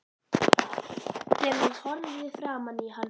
Þegar hún horfði framan í hann